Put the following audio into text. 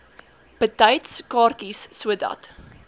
betyds kaartjies sodat